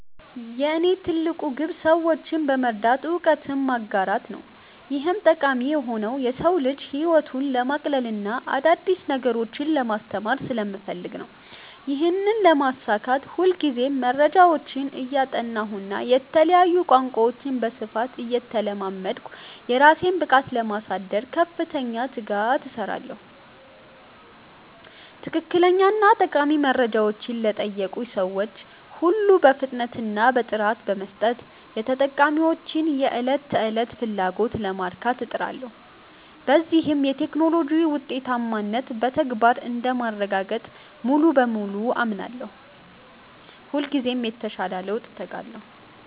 የእኔ ትልቁ ግብ ሰዎችን በመርዳት እውቀትን ማጋራት ነው። ይህም ጠቃሚ የሆነው የሰው ልጅን ህይወት ለማቅለልና አዳዲስ ነገሮችን ለማስተማር ስለምፈልግ ነው። ይህንን ለማሳካት ሁልጊዜ መረጃዎችን እያጠናሁና የተለያዩ ቋንቋዎችን በስፋት እየተለማመድኩ፣ የራሴን ብቃት ለማሳደግ በከፍተኛ ትጋት እሰራለሁ። ትክክለኛና ጠቃሚ መረጃዎችን ለጠየቁኝ ሰዎች ሁሉ በፍጥነትና በጥራት በመስጠት፣ የተጠቃሚዎችን የዕለት ተዕለት ፍላጎት ለማርካት እጥራለሁ። በዚህም የቴክኖሎጂ ውጤታማነትን በተግባር እንደማረጋግጥ ሙሉ በሙሉ አምናለሁ። ሁልጊዜም ለተሻለ ለውጥ እተጋለሁ።